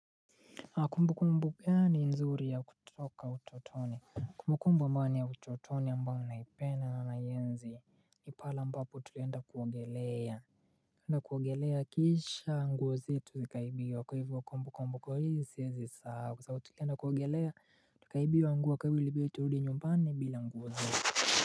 Kumbu kumbu gani nzuri ya kutoka utotoni. Kumbu kumbu ambayo ni ya utotoni ambayo naipenda na ninaienzi ni pale ambapo tulienda kuogelea. Na kuogelea kisha nguo zetu zikaibiwa kwa hivyo kumbu kumbu kwa hii singe sahau. Kwa tulienda kuogelea tukaibiwa nguo kwa hivyo iliibidi turudi nyumbani bila nguo zetu.